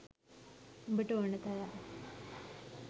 උඹට ඕන තරම්